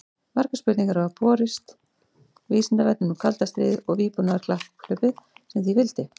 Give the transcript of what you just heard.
Margar spurningar hafa borist Vísindavefnum um kalda stríðið og vígbúnaðarkapphlaupið sem því fylgdi.